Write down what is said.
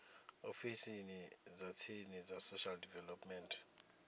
ofisini dza tsini dza social development